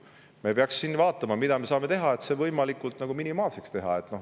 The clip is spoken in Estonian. Me peaksime vaatama, mida me siin saame teha, et see võimalikult minimaalseks teha.